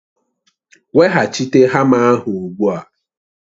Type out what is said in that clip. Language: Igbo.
Weghachite hama ahụ ugbu a!